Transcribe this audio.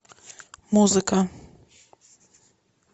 музыка